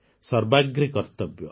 ସର୍ବାଗ୍ରେ କର୍ତ୍ତବ୍ୟ